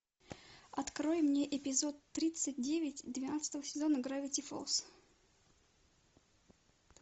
открой мне эпизод тридцать девять двенадцатого сезона гравити фолз